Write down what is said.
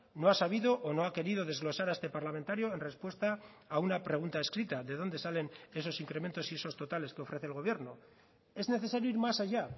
no ha sabido o no ha querido desglosar a este parlamentario en respuesta a una pregunta escrita de dónde salen esos incrementos y esos totales que ofrece el gobierno es necesario ir más allá